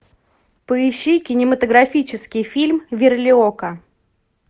поищи кинематографический фильм верлиока